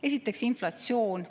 Esiteks inflatsioon.